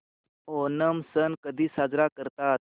ओणम सण कधी साजरा करतात